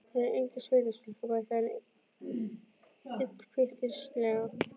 Hún er engin sveitastúlka, bætti hann við illkvittnislega.